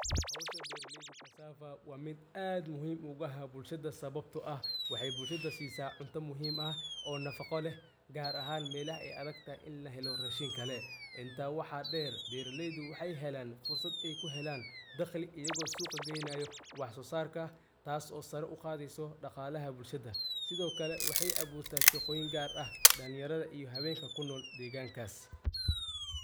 Hawshaa beraleydaa cassava wa miid aad muhiim ogu ah bulshadaa sababto ah waxey bulshadaa siisaa cuunta muhiim ah oo nafaaqo leh gaar ahaan meelaha ey adagtahay inii lahelo rashiin kale intaa waxa dheer beraleydu waxey helaan fursad ey ku heelan daqli ayago suuqa Geynaayo wax sosarka taas oo sara u qadeyso dhaqalaha bulshada sidokale waxey abuuurta shaqooyin gaar ah dhalinyaradha iyo haweenka kunool Deegan Kas.